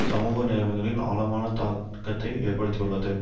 சமூக நிலைமைகளின் ஆழமான தாக்கத்தை ஏற்படுத்தியுள்ளது